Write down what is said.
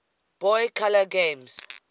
boy color games